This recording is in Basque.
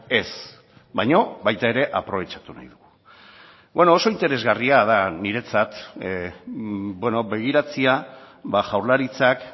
ez baina baita ere aprobetxatu nahi dugu oso interesgarria da niretzat begiratzea jaurlaritzak